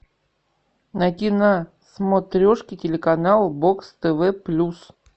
найди на смотрешке телеканал бокс тв плюс